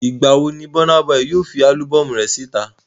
Ìgbàwo ni Burna Boy yóò fi álúbọ́ọ̀mù síta?